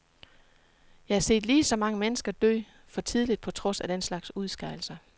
Jeg har set lige så mange mennesker dø for tidligt på trods af den slags udskejelser.